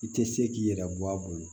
I tɛ se k'i yɛrɛ bɔ a bolo